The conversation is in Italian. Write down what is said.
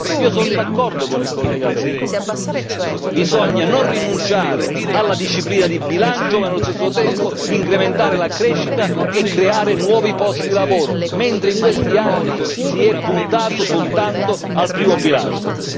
Io sono d'accordo con il collega Weber, bisogna non rinunciare alla disciplina di bilancio ma allo stesso tempo incrementare la crescita e creare nuovi posti di lavoro mentre in questi anni si è puntato soltanto al primo pilastro.